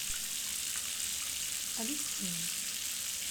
алевтине